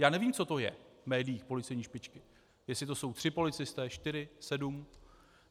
Já nevím, co to je v médiích policejní špičky, jestli to jsou tři policisté, čtyři, sedm?